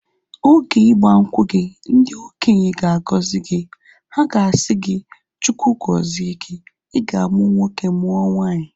Oge igbankwu gị, ndị okenye ga agọzi gị. Ha ga-asị gị, Chukwu gọzie gi. I ga amu nwoke mụọ nwanyi